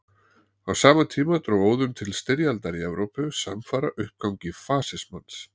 Á sama tíma dró óðum til styrjaldar í Evrópu samfara uppgangi fasismans.